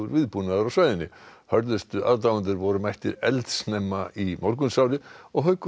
viðbúnaður á svæðinu hörðustu aðdáendurnir voru mættir eldsnemma í morgunsárið og Haukur